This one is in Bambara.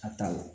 A ta l